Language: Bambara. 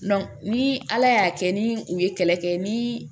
ni ala y'a kɛ ni u ye kɛlɛ kɛ ni